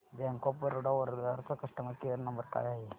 bank of Baroda Vadodara चा customer care number काय आहे